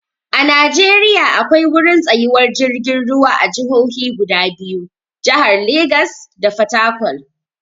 A Najeriya akwai wurin tsayuwar jirgin ruwa a jahohi guda biyu, jahar Legas da Fatakwal.